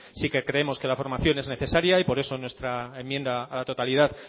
sí que creemos que la formación es necesaria y por eso en nuestra enmienda a la totalidad